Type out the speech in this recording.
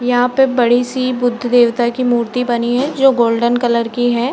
यहाँ पे बड़ी-सी बुद्ध देवता की मूर्ति बनी है जो गोल्डन कलर की है।